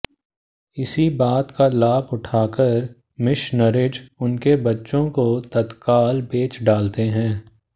इसी बात का लाभ उठाकर मिशनरिज उनके बच्चों को तत्काल बेच डालते हैं